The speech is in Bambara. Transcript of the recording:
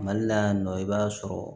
Mali la yan nɔ i b'a sɔrɔ